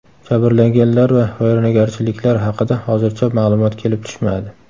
Jabrlanganlar va vayronagarchiliklar haqida hozircha ma’lumot kelib tushmadi.